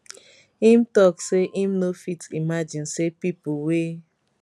im tok say im no fit imagine say pipo wey